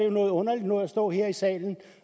jo noget underligt noget at stå her i salen